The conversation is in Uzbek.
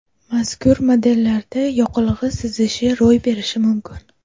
Mazkur modellarda yoqilg‘i sizishi ro‘y berishi mumkin.